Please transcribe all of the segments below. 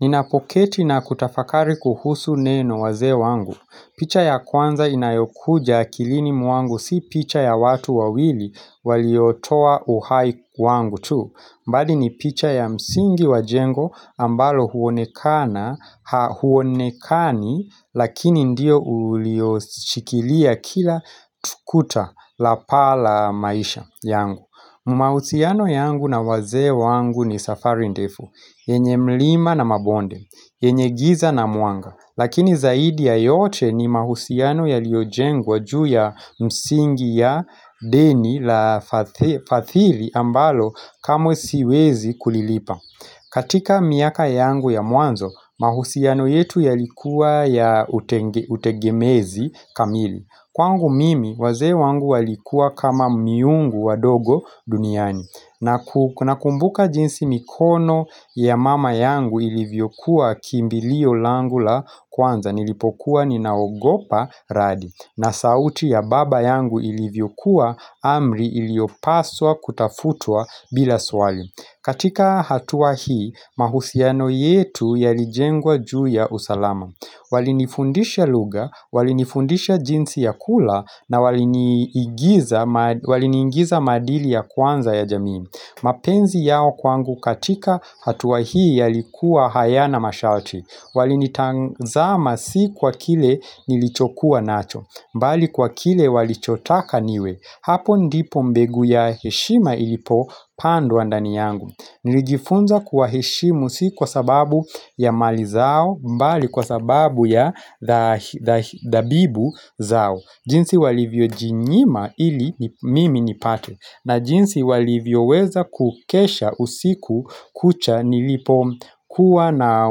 Ninapoketi na kutafakari kuhusu neno wazee wangu. Picha ya kwanza inayokuja akilini mwangu si picha ya watu wawili waliotoa uhai wangu tu. Bali ni picha ya msingi wa jengo ambalo huonekana, hauonekani lakini ndiyo ulioshikilia kila tu kuta la paa la maisha yangu. Mahusiano yangu na wazee wangu ni safari ndefu yenye mlima na mabonde yenye giza na mwanga Lakini zaidi ya yote ni mahusiano yaliojengwa juu ya msingi ya deni la fadhili ambalo kamwe siwezi kulilipa katika miaka yangu ya mwanzo mahusiano yetu yalikuwa ya utegemezi kamili Kwangu mimi, wazee wangu walikuwa kama miungu wa dogo duniani na kumbuka jinsi mikono ya mama yangu ilivyokuwa kimbilio langu la kwanza Nilipokuwa ninaogopa radi na sauti ya baba yangu ilivyokuwa amri iliyopaswa kutafutwa bila swali katika hatua hii, mahusiano yetu yalijengwa juu ya usalama Walini fundisha luga, walinifundisha jinsi ya kula na walini niingiza maadili ya kwanza ya jamii mapenzi yao kwangu katika hatua hii yalikuwa hayana masharti Walini tazama si kwa kile nilichokuwa nacho bali kwa kile walichotaka niwe Hapo ndipo mbegu ya heshima ilipo pandwa ndani yangu Nilijifunza kuwaheshimu si kwa sababu ya mali zao bali kwa sababu ya dhabibu zao jinsi walivyo jinyima ili mimi nipate na jinsi walivyo weza kukesha usiku kucha nilipo kuwa na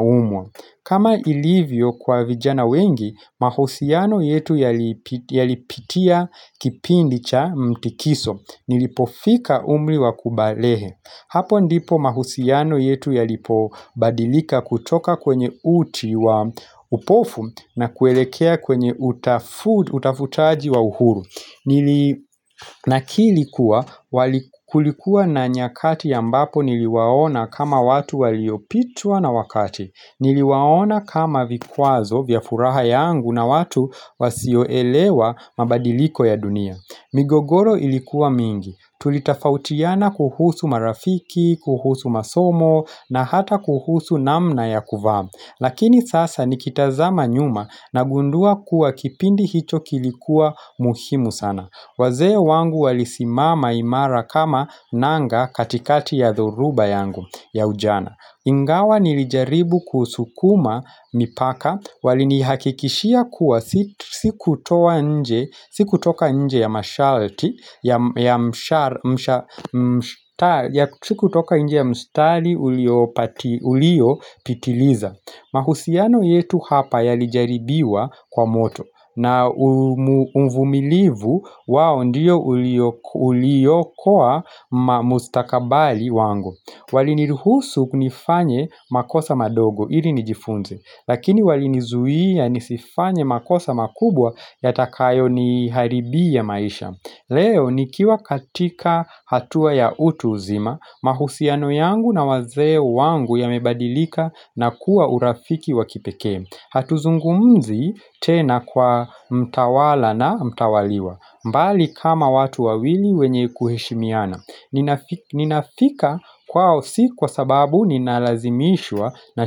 umwa kama ilivyo kwa vijana wengi mahusiano yetu yalipitia kipindi cha mtikiso Nilipofika umri wa kubalehe Hapo ndipo mahusiano yetu yalipo badilika kutoka kwenye uti wa upofu na kuelekea kwenye utafutaji wa uhuru Nakiri kuwa, kulikuwa na nyakati ambapo niliwaona kama watu waliopitwa na wakati Niliwaona kama vikwazo vya furaha yangu na watu wasioelewa mabadiliko ya dunia migogoro ilikuwa mingi Tulitafautiana kuhusu marafiki, kuhusu masomo na hata kuhusu namna ya kuvaa Lakini sasa nikitazama nyuma na gundua kuwa kipindi hicho kilikuwa muhimu sana wazee wangu walisimama imara kama nanga katikati ya dhoruba yangu ya ujana Ingawa nilijaribu kusukuma mipaka walini hakikishia kuwa siku toka nje ya masharti, sikutoka nje ya mstari uliopitiliza mahusiano yetu hapa yalijaribiwa kwa moto na umvumilivu wao ndiyo ulio kuwa mustakabali wangu Walini ruhusu ku, nifanye makosa madogo ili nijifunze Lakini walinizuia nisifanye makosa makubwa yatakayo ni haribia maisha Leo nikiwa katika hatua ya utu uzima mahusiano yangu na wazee wangu ya mebadilika na kuwa urafiki wakipekee Hatuzungumzi tena kwa mtawala na mtawaliwa mbali kama watu wawili wenye kuheshimiana Ninafika kwao si kwa sababu ninalazimishwa na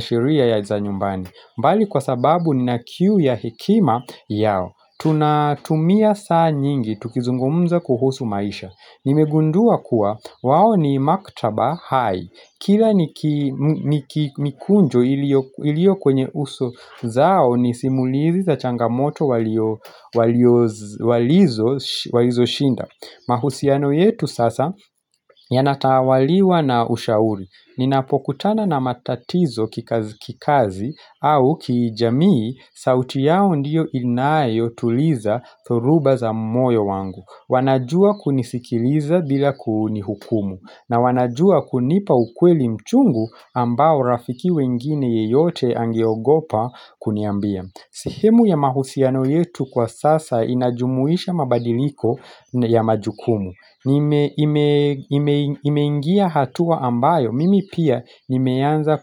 sheria za nyumbani bali kwa sababu nina kiu ya hekima yao Tunatumia saa nyingi tukizungumza kuhusu maisha Nimegundua kuwa wao ni maktaba hai Kila niki mikunjo ilio kwenye uso zao ni simulizi za changamoto walizo shinda mahusiano yetu sasa yanatawaliwa na ushauri. Ninapokutana na matatizo kikazi au kijamii sauti yao ndiyo inayo tuliza dhoruba za moyo wangu. Wanajua kunisikiliza bila kunihukumu. Na wanajua kunipa ukweli mchungu ambao rafiki wengine yeyote angeogopa kuniambia. Sihemu ya mahusiano yetu kwa sasa inajumuisha mabadiliko ya majukumu Nimeingia hatua ambayo, mimi pia nimeanza ku.